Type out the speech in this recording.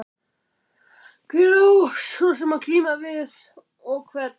Hver á svo sem að glíma. og við hvern?